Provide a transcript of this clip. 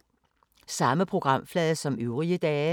Samme programflade som øvrige dage